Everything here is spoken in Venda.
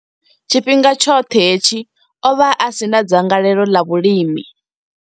Tshifhinga tshoṱhe hetshi, o vha a si na dzangalelo ḽa vhulimi.